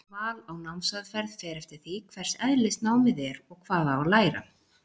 Val á námsaðferð fer eftir því hvers eðlis námið er og hvað á að læra.